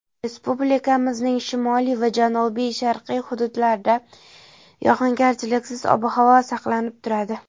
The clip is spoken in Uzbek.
Respublikamizning shimoliy va janubi-sharqiy hududlarida yog‘ingarchiliksiz ob-havo saqlanib turadi.